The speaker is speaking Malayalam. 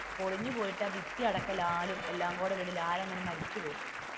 പൊളിഞ്ഞു പോയിട്ട് ആ പിത്തി അടക്കം ലാലും എല്ലാം കൂടി വീണു ലാൽ അങ്ങനെ മരിച്ചു പോവും.